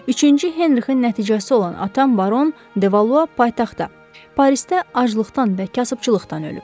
Üçüncü Henrikin nəticəsi olan atam baron de Valua paytaxtda, Parisdə aclıqdan və kasıbçılıqdan ölüb.